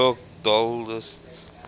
new york dollst